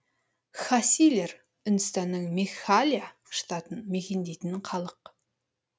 кхасилер үндістанның мегхалая штатын мекендейтін халық